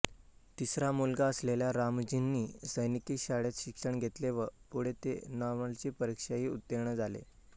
तिसरा मुलगा असलेल्या रामजींनी सैनिकी शाळेत शिक्षण घेतले व पुढे ते नॉर्मलची परीक्षाही उत्तीर्ण झाले